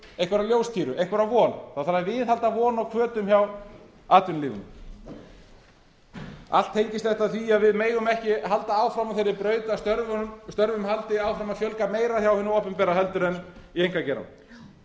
dagskrárlið í morgun einhverja ljóstíru einhverja von það þarf að viðhalda von og hvötum hjá atvinnulífinu allt tengist þetta því að við megum ekki halda áfram á þeirri braut að störfum haldi áfram að fjölga meira hjá hinu opinbera heldur en í